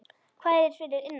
Hvað er fyrir innan?